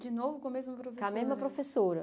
De novo com a mesma professora? Com a mesma professora